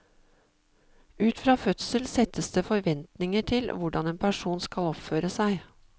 Ut fra fødsel settes det forventninger til hvordan en person skal oppføre seg.